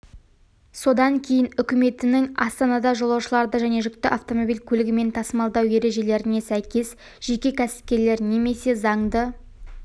содан кейін үкіметінің астанада жолаушыларды және жүкті автомобиль көлігімен тасымалдау ережелеріне сәйкес жеке кәсіпкерлер немесе заңды